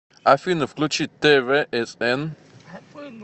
афина включи т в с н